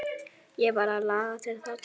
Ég varð að laga til þarna.